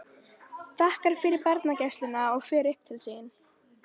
Þakkar fyrir barnagæsluna og fer upp til sín.